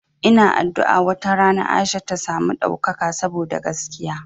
Ina addu'a wata rana Aisha ta samu ɗaukaka saboda gaskiya.